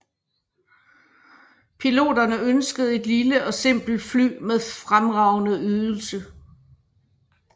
Piloterne ønskede et lille og simpelt fly med fremragende ydelse